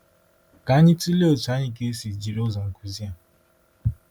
Ka anyị tụlee otú anyị ga-esi jiri ụzọ nkuzi a.